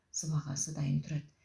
сыбағасы дайын тұрады